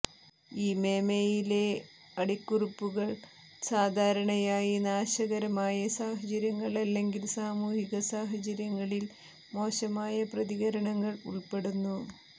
ഈ മെമെയിലെ അടിക്കുറിപ്പുകൾ സാധാരണയായി നാശകരമായ സാഹചര്യങ്ങൾ അല്ലെങ്കിൽ സാമൂഹിക സാഹചര്യങ്ങളിൽ മോശമായ പ്രതികരണങ്ങൾ ഉൾപ്പെടുന്നു